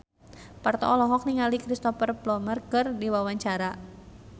Parto olohok ningali Cristhoper Plumer keur diwawancara